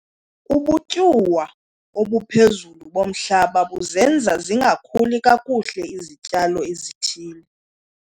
Ubutyuwa obuphezulu bomhlaba buzenza zingakhuli kakuhle izityalo ezithile.